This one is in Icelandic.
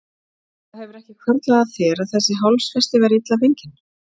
Það hefur ekki hvarflað að þér að þessi hálsfesti væri illa fengin?